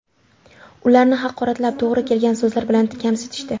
Ularni haqoratlab, to‘g‘ri kelgan so‘zlar bilan kamsitishdi.